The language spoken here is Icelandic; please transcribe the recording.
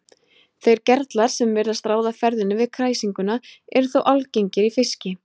Þeir gerlar sem virðast ráða ferðinni við kæsinguna eru þó algengir í fiski.